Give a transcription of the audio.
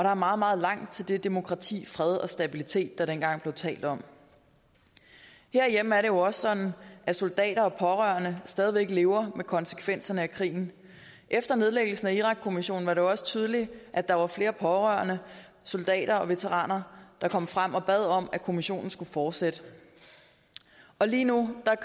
er meget meget langt til det demokrati den fred og stabilitet der dengang blev talt om herhjemme er det jo også sådan at soldater og pårørende stadig væk lever med konsekvenserne af krigen efter nedlæggelse af irakkommissionen var det jo også tydeligt at der var flere pårørende soldater og veteraner der kom frem og bad om at kommissionen skulle fortsætte lige nu